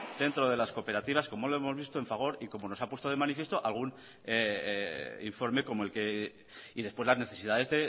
dentro de la cooperativas como lo hemos visto en fagor y como nos han puesto de manifiesto algún informe como el que y después las necesidades